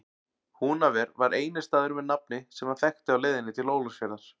Húnaver var eini staðurinn með nafni sem hann þekkti á leiðinni til Ólafsfjarðar.